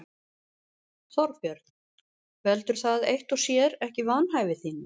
Þorbjörn: Veldur það eitt og sér ekki vanhæfi þínu?